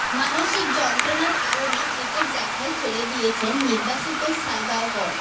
মানসিক যন্ত্রণার কারণে ক্রিকেট দেখাই ছেড়ে দিয়েছেন নির্বাসিত সালগাওকর